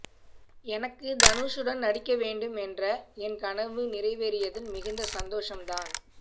எனக்கு தனுஷுடன் நடிக்க வேண்டும் என்ற என் கனவு நிறைவேறியதில் மிகுந்த சந்தோசம் தான்